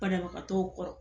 Bana bagatɔw kɔrɔ.